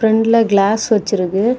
ஃப்ரண்ட்ல கிளாஸ் வச்சுருக்கு.